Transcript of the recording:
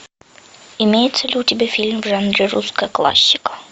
имеется ли у тебя фильм в жанре русская классика